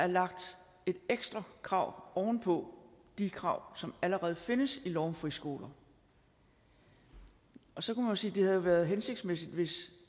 er lagt et ekstra krav oven på de krav som allerede findes i lov om friskoler og og så kan man sige at det havde været hensigtsmæssigt hvis